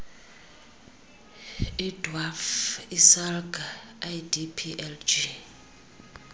idwaf isalga idplg